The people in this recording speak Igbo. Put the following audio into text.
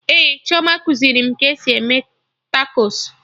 Ee, Chioma kuziri m ka esi eme takos